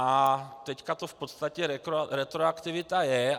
A teď to v podstatě retroaktivita je.